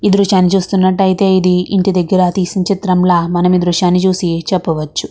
ఈ దృశ్యాన్ని చూస్తున్నట్టు అయితే ఇది ఇంటి దగ్గరా తీసిన చిత్రము లా మనను ఈ దృశ్యాన్ని చూసి చవప్పవచ్చు.